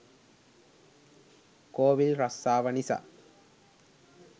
කෝවිල් රස්සාව නිසා